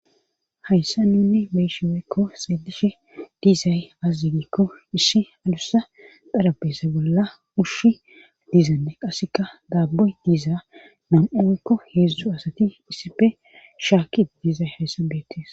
Hayssa nunne beyishe weyekko xeelishe diizay azazigikko ishi alussa darabese bolla ushshi diizanne qasseka daaboy diizaa nam7unkko heeszdzu asati isipe shaakki diizay hayssa beettis